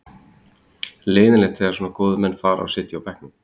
Leiðinlegt þegar svona góðir menn fara og sitja svo á bekknum.